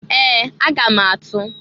Ee! Aga m atụ.